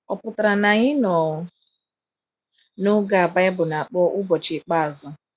Ọ̀ pụtara na anyị nọ n’oge a Baịbụl na-akpọ “ụbọchị ikpeazụ”?